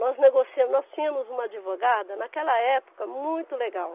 Nós negociamos, nós tínhamos uma advogada, naquela época, muito legal.